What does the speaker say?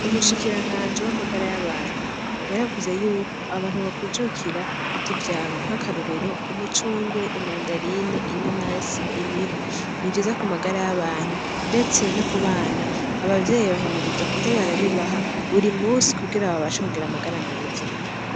Umushikiranganji w'amagara y'abantu yaravuze Yuko abantu bokwijukira kurya ivyamwa nkakarorero umucungwe, imandarine, inanasi, imihwi, nivyiza Ku magara y'abantu ndetse no kubana abavyeyi bahimirizwa kuza barabibaha buri munsi kugira babashe kugira amagara meza .